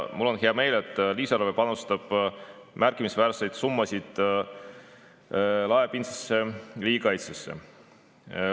Mul on hea meel, et lisaeelarve panustab märkimisväärseid summasid laiapindsesse riigikaitsesse.